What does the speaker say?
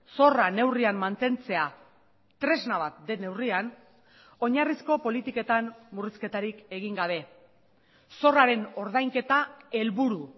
zorra neurrian mantentzea tresna bat den neurrian oinarrizko politiketan murrizketarik egin gabe zorraren ordainketa helburu